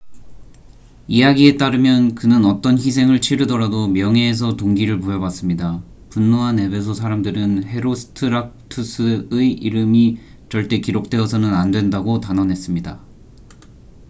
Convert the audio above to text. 이야기에 따르면 그는 어떤 희생을 치르더라도 명예에서 동기를 부여받습니다 분노한 에베소 사람들은 헤로스트라투스의 이름이 절대 기록되어서는 안된다고 단언했습니다